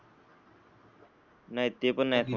नाय ते अन नाय मग.